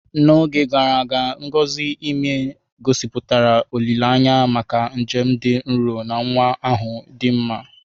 N'oge gara aga, ngọzi ime ime, gosipụtara olileanya maka njem dị nro na nwa ahụ dị mma.